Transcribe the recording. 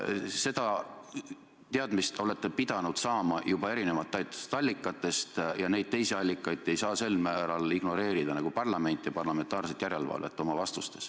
Seda infot te olete pidanud saama juba erinevatest allikatest ja neid teisi allikaid te ei saa oma vastustas sel määral ignoreerida nagu parlamenti, parlamentaarset järelevalvet.